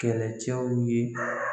Kɛlɛcɛw ye.